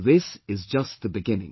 This is just the beginning